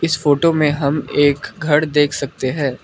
इस फोटो में हम एक घर देख सकते हैं।